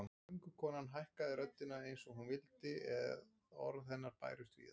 Göngukonan hækkaði röddina eins og hún vildi að orð hennar bærust víða